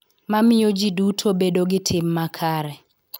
Ma miyo ji duto bedo gi tim makare .